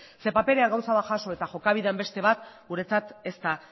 ze paperean gauza bat jaso eta jokabidean beste bat guretzat ez da